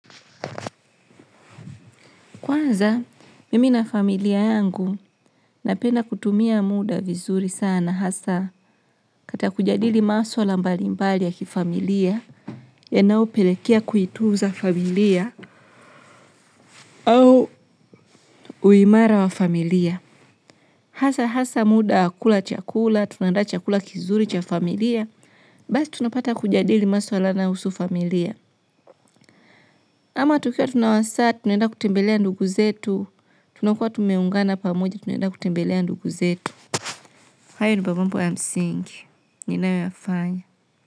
Kwanza, mimi na familia yangu napenda kutumia muda vizuri sana hasa kata kujadili maswala mbalimbali ya kifamilia yanayopelekea kuitunza familia au uimara wa familia. Hasa, hasa muda wa kula chakula, tunandaa chakula kizuri cha familia, basi tunapata kujadili maswala naohusu familia. Ama tukiwa tunawasa, tunaenda kutembelea ndugu zetu, tunakua tumeungana pamoja, tunaenda kutembelea ndugu zetu. Hayo dio mambo M-sing, ninauafai.